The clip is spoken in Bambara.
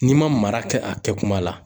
N'i ma mara kɛ a kɛ kuma la.